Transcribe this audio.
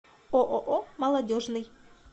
ооо молодежный